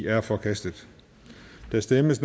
er forkastet der stemmes